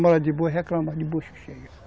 reclama de bucho cheio